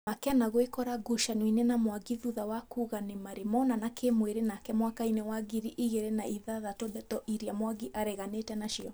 Makena gwĩkora ngucanio-inĩ na Mwangi thutha wa kuga nĩ marĩ monana kĩ mwĩrĩ nake mwaka-inĩ wa ngiri igĩrĩ na ithathatũ ndeto iria Mwangi areganĩte nacio